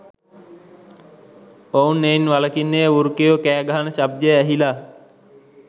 ඔහු එයින් වලකින්නේ වෘකයෝ කෑගහන ශබ්දය ඇහිලා